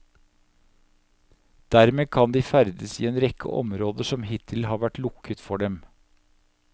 Dermed kan de ferdes i en rekke områder som hittil har vært lukket for dem.